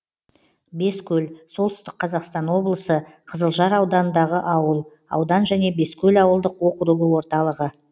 бескөл солтүстік қазақстан облысы қызылжар ауданындағы ауыл аудан және бескөл ауылдық округі орталығы